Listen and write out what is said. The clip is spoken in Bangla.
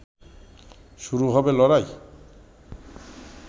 শুরু হবে লড়াই